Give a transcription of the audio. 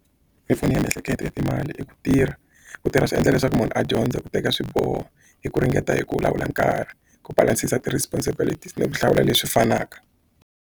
Mimpfuno ya miehleketo ya timali i ku tirha ku tirha swi endla leswaku munhu a dyondza ku teka swiboho hi ku ringeta hi ku lawula nkarhi ku balance-sa ti-responsibility ni ku hlawula leswi fanaka.